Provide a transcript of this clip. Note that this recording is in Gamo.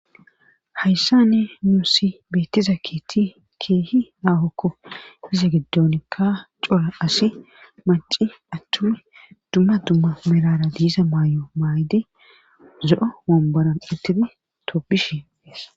Hayssani nuusi beettiza keeththi keehi ahokko .Iza giddonikka cora asi maci attumi dumma dumma merara diisa maayo maayidi zo'o wonbaran uttidi tobishe.